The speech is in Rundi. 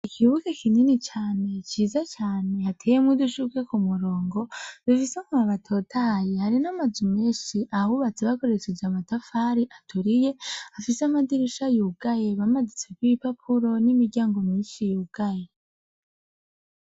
Ikibuga kinini cane , ciza cane, hateyemwo udushurwe k' umurongo, dufise amababi atotahaye, hari n' amazu menshi abubatse bakoresheje amatafari aturiye, afise amadirisha yugaye bamanitse kw ibipapuro n' imiryango myinshi yugaye.